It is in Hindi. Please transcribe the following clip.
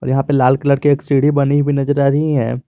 यहां पे लाल कलर के एक सीढ़ी बनी हुई नजर आ रही है।